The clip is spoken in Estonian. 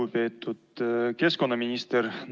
Lugupeetud keskkonnaminister!